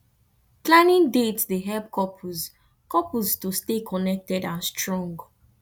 planning dates dey help couples couples to stay connected and strong